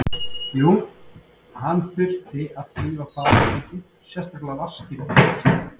Jú, hann þurfti að þrífa baðherbergið, sérstaklega vaskinn og klósettið.